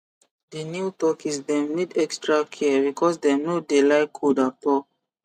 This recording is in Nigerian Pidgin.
di new turkeys dem need extra care because dem no dey like cold at all